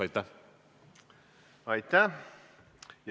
Aitäh!